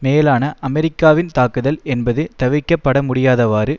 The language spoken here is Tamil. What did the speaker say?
மேலான அமெரிக்காவின் தாக்குதல் என்பது தவிர்க்கப் படமுடியாதவாறு